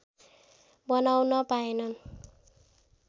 बनाउन पाएनन्